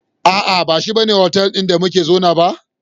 Aa, bashi bane otal ɗin da muka zauna ba